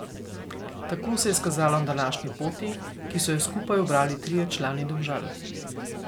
Tako se je izkazalo na današnji poti, ki so jo skupaj ubrali trije člani Domžal.